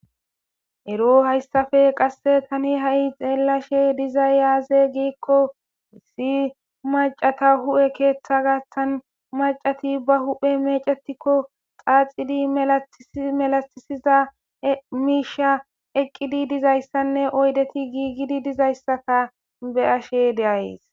ero hayssafe qasse tani ha7i xeellashe dizayyaaze giikko si macata hu7e keeththa gastan macati ba hu7he mecatikko xaaxidi melatisiza miisha eqqidi dizayssanne oydeti giigidi dizayssaka be ashe deays